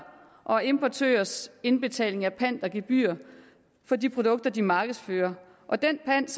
og importørers indbetaling af pant og gebyrer for de produkter de markedsfører og den pant